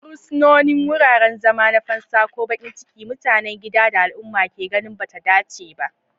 Fursunonin, wuraren zama na fansa ko baƙin ciki, mutanen gida da al'umma ke ganin ba ta dace ba.